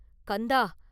கந்தா!